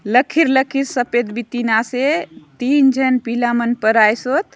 लखीर लखीर सफ़ेद बीतीन आसे तीन झन पिला मन परायेसोत।